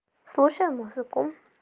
слушаем музыку